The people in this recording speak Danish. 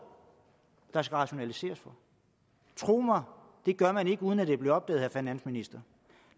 der skal rationaliseres for tro mig det gør man ikke uden at det bliver opdaget finansministeren